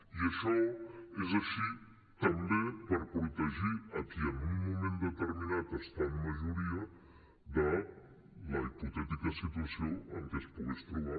i això és així també per protegir a qui en un moment determinat està en majoria de la hipotètica situació en què es pogués trobar